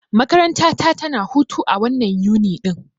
Makaranta ta tana hutu a wannan Yuni ɗin.